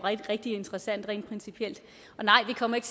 rigtig interessant rent principielt og nej vi kommer ikke